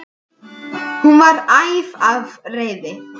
Hún var æf af reiði.